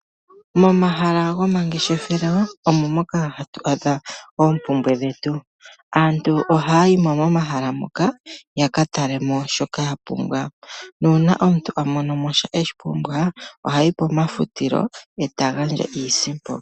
Momahala gomangeshefelo omo moka hatu adha oompumbwe dhetu, aantu ohaya yi mo momahala moka ya katale mo shoka ya pumbwa nuuna omuntu amono mo shoka eshi pumbwa ohayi pomafutilo e ta gandja iisipo.